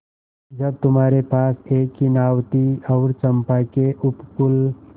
जब तुम्हारे पास एक ही नाव थी और चंपा के उपकूल